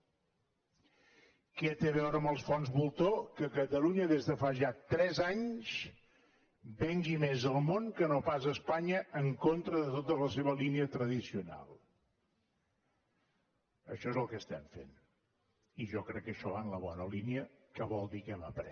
què té a veure amb els fons voltor que catalunya des de fa ja tres anys vengui més al món que no pas espanya en contra de tota la seva línia tradicional això és el que estem fent i jo crec que això va en la bona línia que vol dir que hem après